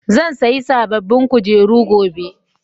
zan sayi sabobbin kujeru gobe